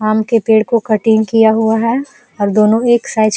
आम के पेड़ को कटिंग किया हुआ है और दोनों एक साइज --